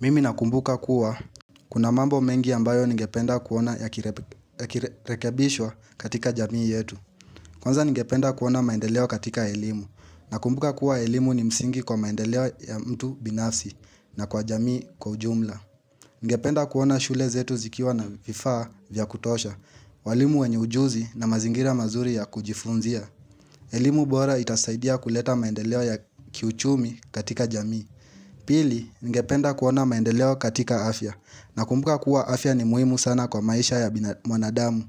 Mimi nakumbuka kuwa kuna mambo mengi ambayo ningependa kuona yakirekebishwa katika jamii yetu. Kwanza ningependa kuona maendeleo katika elimu. Nakumbuka kuwa elimu ni msingi kwa maendeleo ya mtu binafsi na kwa jamii kwa ujumla. Ningependa kuona shule zetu zikiwa na vifaa vya kutosha. Walimu wenye ujuzi na mazingira mazuri ya kujifunzia. Elimu bora itasaidia kuleta maendeleo ya kiuchumi katika jamii. Pili, ningependa kuona maendeleo katika afya nakumbuka kuwa afya ni muhimu sana kwa maisha ya mwanadamu.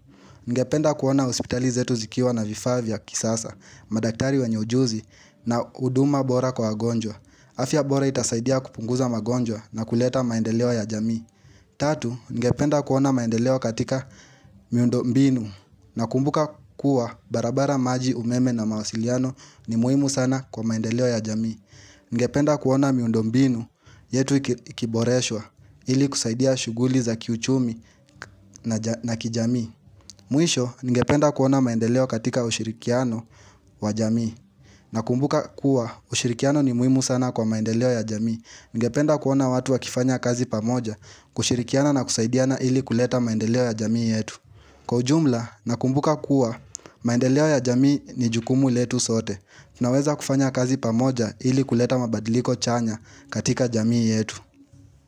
Ningependa kuona hospitali zetu zikiwa na vifaa vya kisasa, madaktari wenye ujuzi na huduma bora kwa wagonjwa. Afya bora itasaidia kupunguza magonjwa na kuleta maendeleo ya jamii. Tatu, ningependa kuona maendeleo katika miundo mbinu nakumbuka kuwa barabara maji umeme na mawasiliano ni muhimu sana kwa maendeleo ya jamii. Ningependa kuona miundobmbinu yetu ikiboreshwa ili kusaidia shughuli za kiuchumi na kijamii Mwisho ningependa kuona maendeleo katika ushirikiano wa jamii Nakumbuka kuwa ushirikiano ni muhimu sana kwa maendeleo ya jamii Ningependa kuona watu wakifanya kazi pamoja kushirikiana na kusaidiana ili kuleta maendeleo ya jamii yetu Kwa ujumla nakumbuka kuwa maendeleo ya jamii ni jukumu letu sote Tunaweza kufanya kazi pamoja ili kuleta mabadiliko chanya katika jamii yetu.